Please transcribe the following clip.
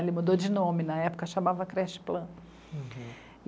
Ele mudou de nome, na época chamava Creche Plan.